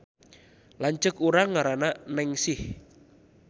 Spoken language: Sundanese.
Lanceuk urang ngaranna Nengsih